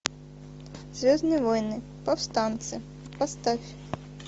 звездные войны повстанцы поставь